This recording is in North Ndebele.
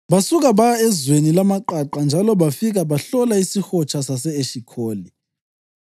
Basuka baya ezweni lamaqaqa njalo bafika bahlola isihotsha sase-Eshikholi.